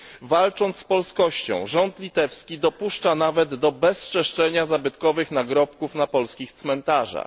Walcząc z polskością, rząd litewski dopuszcza nawet do bezczeszczenia zabytkowych nagrobków na polskich cmentarzach.